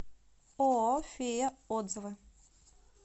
ооо фея отзывы